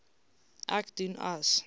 ek doen as